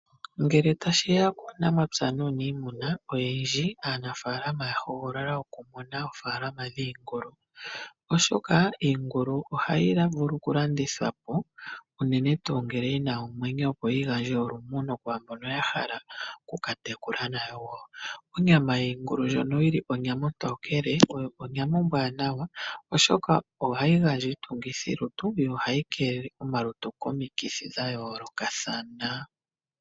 Ngele tashiya kuunamapya nuniimuna oyendji aanafaalama oya hogolola okumuna oofaalama dhiingulu . Oshoka iingulu ohayi vulu okulandithwa po unene tuu ngele yina omwenyo opo yi gandje olumuno kwaambono ya hala oku katekula nayo wo. Onyama yiingulu ndjono yili ontokele oyo onyama ombwanawa oshoka ohayi gandja iitungithilutu yo ohayi keelele omalutu komikithi dha yoolokathana.